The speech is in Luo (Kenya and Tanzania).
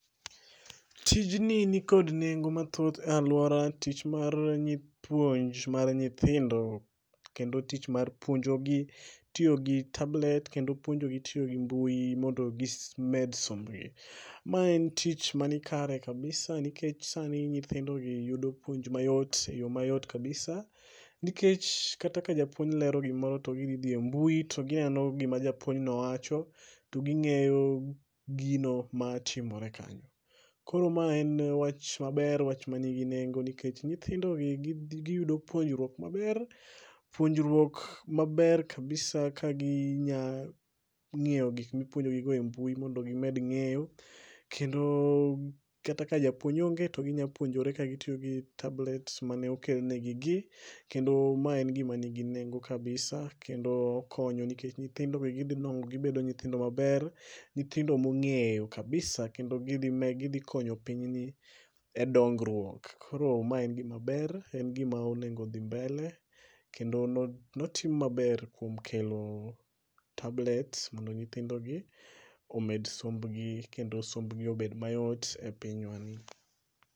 Tijni nikod nengo mathoth e alwora, tich mar puonj mar nyithindo kendo tich mar puonjogi tiyo gi tablet kendo puonjogi tiyo gi mbui mondo gimed sombgi. Ma en tich manikare kabisa nikech sani nyithindogi yudo puonj mayot e yo mayot kabisa nikech kata ka japuonj lero gimoro to gidhi dhi e mbui, to gineno gima japuonjno wacho, to ging'eyo gino ma timore kanyo. Koro ma en wach maber, wach manigi nengo nikech nyithindogi giyudo puonjruok maber, puonjruok maber kabisa ka gi nya ng'iyo gik mipuonjogi go e mbui mondo gimed ng'eyo, kendo kata ka japuonj onge to ginya puonjore ka gitiyo gi tablets mane okenegigi, kendo mae en gima nigi nengo kabisa kendo konyo nikech nyithindo wigi dhi nwang'o gibedo nyithindo maber, nyithindo mong'eyo kabisa[c] kendo gidhi konyo pinyni,e dongruok. Koro ma en gimaber, en gima onego odhi mbele kendo notim maber kuom kelo tablets mondo nyithindogi omed sombgi, kendo sombgi obed mayot e pinywani.